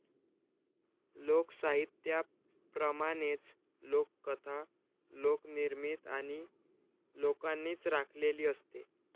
लोकसाहित्याप्रमाणेच लोककथा लोकनिर्मित आणि लोकांनीच राखलेली असते.